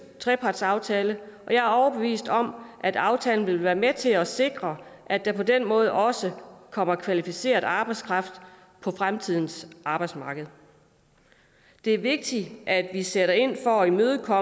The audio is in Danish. trepartsaftale og jeg er overbevist om at aftalen vil være med til at sikre at der på den måde også kommer kvalificeret arbejdskraft på fremtidens arbejdsmarked det er vigtigt at vi sætter ind for at imødegå